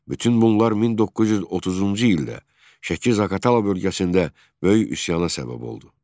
Bütün bunlar 1930-cu ildə Şəki-Zaqatala bölgəsində böyük üsyana səbəb oldu.